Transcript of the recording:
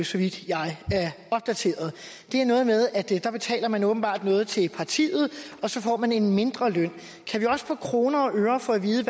så vidt jeg er opdateret det er noget med at der der betaler man åbenbart noget til partiet og så får man en mindre løn kan vi også på kroner og øre få at vide